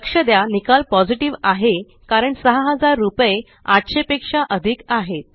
लक्ष द्या निकाल पॉझिटिव्ह आहे कारण 6000 रुपये 800 पेक्षा अधिक आहेत